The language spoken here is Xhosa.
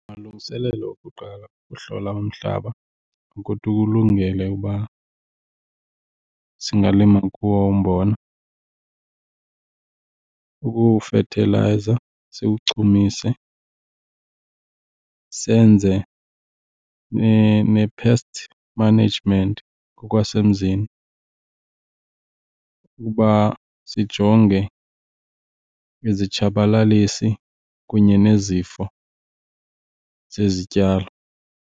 Amalungiselelo okuqala okuhlola umhlaba ukuthi ukulungele uba singalima kuwo umbona kukuwufethilayiza siwuchumise. Senze ne-pest management ngokwasemzini ukuba sijonge izitshabalalisi kunye nezifo zezityalo.